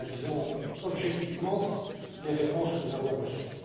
Nous analysons objectivement les réponses que nous avons reçues.